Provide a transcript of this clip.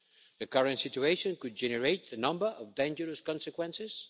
The current situation could generate a number of dangerous consequences.